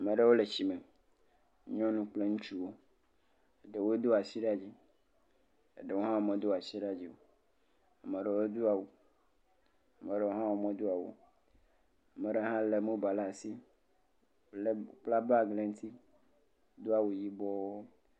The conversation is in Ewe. maɖewo le tsi me nyɔnu kple ŋutsuwo ɖewo dó asi ɖe dzi eɖewo hã wome do asi ɖe dzi o ɖewo dó awu maɖewo hã modó awu o maɖe hã le mobal la'si kpla bag le ŋti dó awu yibɔɔ